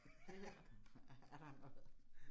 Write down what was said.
Det her er der noget